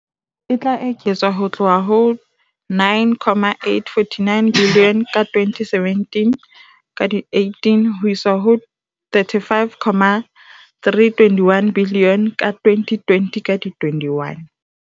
e tla eketswa ho tloha ho R9.849 biliyone ka 2017-18 ho isa ho R35.321 biliyone ka 2020-21.